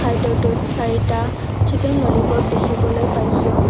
খাদ্যটোত চাৰিটা chicken lollipop দেখিবলৈ পাইছোঁ।